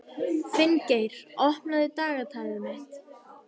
Finngeir, opnaðu dagatalið mitt.